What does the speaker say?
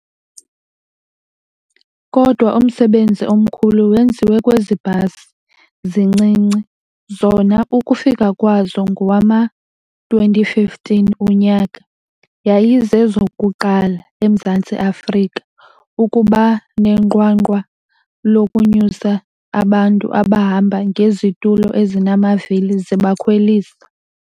Kodwa umsebenzi omkhulu wenziwe kwezi bhasi zincinci, zona ukufika kwazo ngowama-2015 unyaka, yayizezokuqala eMzantsi Afrika ukuba nenqwanqwa lokunyusa abantu abahamba ngezitulo ezinamavili zibakhwelisa.